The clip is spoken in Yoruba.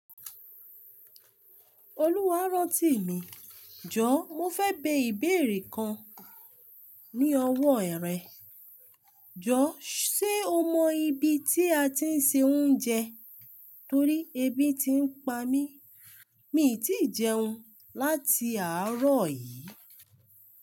Olúwa rántí mi, jọ mo fẹ́ bẹ ìbéèrè kan ní ọwọ́ erẹ. Jọ sé o mọ ibi tí a ti ń ṣe oúnjẹ? Torí ebi ti ń pa mí. Mi ò tíì jẹun láti àárọ̀ yìí.